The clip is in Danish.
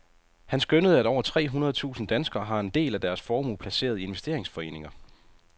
Han skønnede, at over tre hundrede tusinde danskere har en del af deres formue placeret i investeringsforeninger.